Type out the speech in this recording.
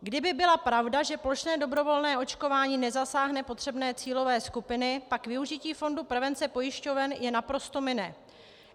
Kdyby byla pravda, že plošné dobrovolné očkování nezasáhne potřebné cílové skupiny, pak využití fondu prevence pojišťoven je naprosto mine.